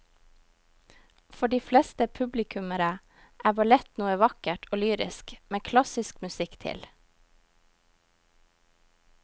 For de fleste publikummere er ballett noe vakkert og lyrisk med klassisk musikk til.